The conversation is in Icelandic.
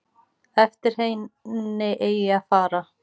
Eftir henni eigi að fara.